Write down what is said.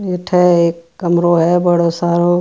अठ एक कमरों है बडों सारो।